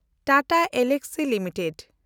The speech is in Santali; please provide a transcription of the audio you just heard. Tata Elxsi limited